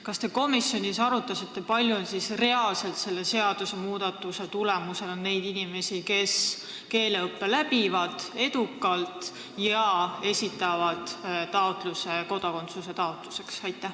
Kas te komisjonis arutasite, kui palju on reaalselt selle seadusmuudatuse tulemusena neid inimesi, kes keeleõppe edukalt läbivad ja esitavad taotluse kodakondsuse saamiseks?